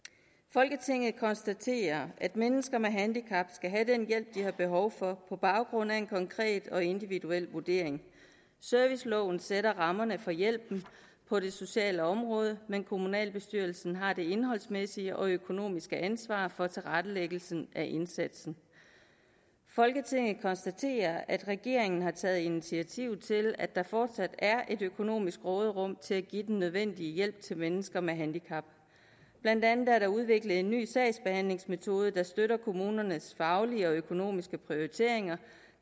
folketinget konstaterer at mennesker med handicap skal have den hjælp de har behov for på baggrund af en konkret og individuel vurdering serviceloven sætter rammerne for hjælpen på det sociale område men kommunalbestyrelsen har det indholdsmæssige og økonomiske ansvar for tilrettelæggelsen af indsatsen folketinget konstaterer at regeringen har taget initiativer til at der fortsat er et økonomisk råderum til at give den nødvendige hjælp til mennesker med handicap blandt andet er der udviklet en ny sagsbehandlingsmetode der støtter kommunernes faglige og økonomiske prioriteringer